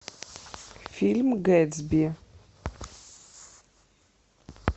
фильм гэтсби